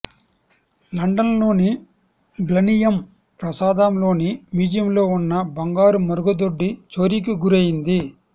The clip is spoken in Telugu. లండన్లోని బ్లనియమ్ ప్రాసాదంలోని మ్యూజియంలో ఉన్న బంగారు మరుగుదొడ్డి చోరీకి గురైంది